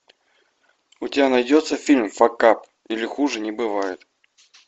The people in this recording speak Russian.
у тебя найдется фильм факап или хуже не бывает